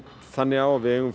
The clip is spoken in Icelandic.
þannig á að við eigum